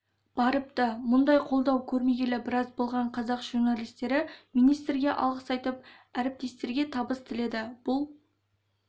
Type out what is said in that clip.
барыпты мұндай қолдау көрмегелі біраз болған қазақ журналистері министрге алғыс айтып әріптестерге табыс тіледі бұл